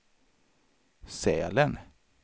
Sälen